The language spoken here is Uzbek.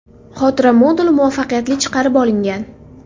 Xotira moduli muvaffaqiyatli chiqarib olingan.